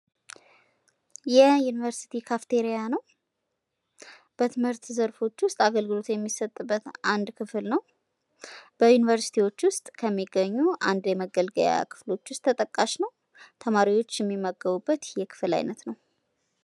የዩኒቨርስቲ ካፍቴራ ነው። በትምርት ዘርፎች ውስጥ አገልግሎት የሚሰጥበት አንድ ክፍል ነው። በዩኒቨርስቲዎች ውስጥ ከሚገኙ የመገልገያ ክፍት ተጠቃሽ ነው። ተማሪዎች የሚመገቡበት የክፍል ዓይነት ነው።